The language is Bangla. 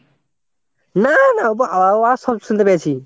না না আওয়াজ শুনতে পেয়েছি।